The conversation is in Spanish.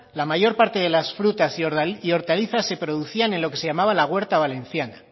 la mayor parte de las frutas y hortalizas se producían en lo que se llamaba la huerta valenciana